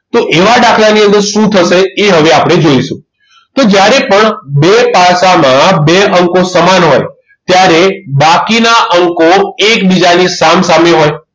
તો એવા દાખલાની અંદર શું થશે એ હવે આપણે જોઈશું તો જ્યારે પણ બે પાસામાં બે અંકો સમાન હોય ત્યારે બાકીના અંકો એકબીજાની સામસામે હોય